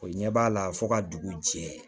O ɲɛ b'a la fo ka dugu jɛ